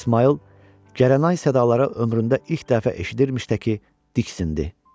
İsmayıl Gəraynay sədaları ömründə ilk dəfə eşitdirməkdi ki, diksindi.